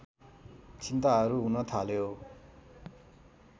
चिन्ताहरू हुन थाल्यो